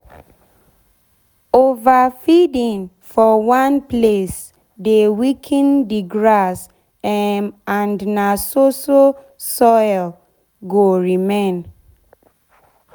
over feeding for one place dey weaken d grass um and na so so soil go remain.